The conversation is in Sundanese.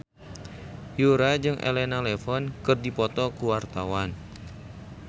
Yura jeung Elena Levon keur dipoto ku wartawan